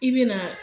I bɛ na